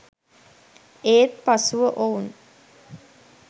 ඒත් පසුව ඔවුන්